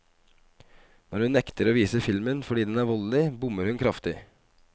Når hun nekter å vise filmen fordi den er voldelig, bommer hun kraftig.